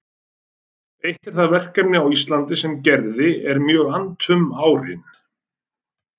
Eitt er það verkefni á Íslandi sem Gerði er mjög annt um árin